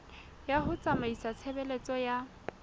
ya ho tsamaisa tshebeletso ya